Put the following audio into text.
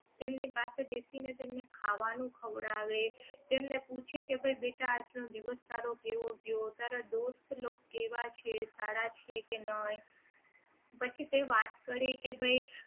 તેમની પાસે બેસીને તેમને ખાવાનું ખવડાવે તેમને પૂછે કે ભાઈ બેટા આજ નો દિવસ તારો કેવો ગયો તારા દોસ્ત લોગ કેવા છે સારા છે કે નહીં પછી તે વાત કરે કે ભાઈ